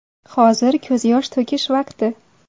Hozir ko‘z yosh to‘kish vaqti.